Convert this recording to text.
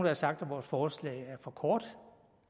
har sagt at vores forslag er for kort